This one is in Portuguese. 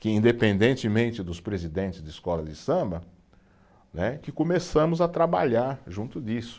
que independentemente dos presidentes de escola de samba, né, que começamos a trabalhar junto disso.